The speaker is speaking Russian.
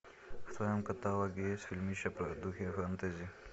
в твоем каталоге есть фильмище в духе фэнтези